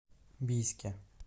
бийске